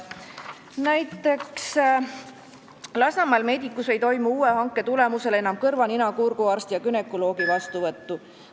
Näiteks, Lasnamäel Medicumis ei toimu uue hanke tulemusel enam kõrva-, nina-, kurguarsti ja günekoloogi vastuvõttu.